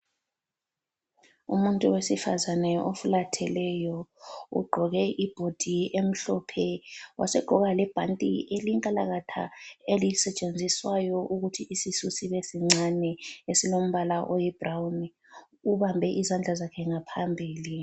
Umuntu wesifazane ofulatheleyo, ugqoke ibhodi emhlophe. Wasegqoka lebhanti elinkalakatha elisetshenziswayo ukuthi isisu sibe sincane esilombala oyi brawuni. Ubambe izandla zakhe ngaphambili.